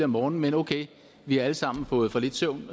morgenen men ok vi har alle sammen fået for lidt søvn